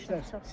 Təbriklər.